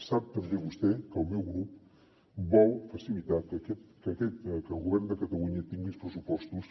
sap també vostè que el meu grup vol facilitar que el govern de catalunya tingui uns pressupostos